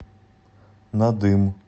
надым